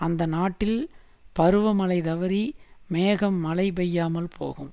அந்த நாட்டில் பருவமழை தவறி மேகம் மழை பெய்யாமல் போகும்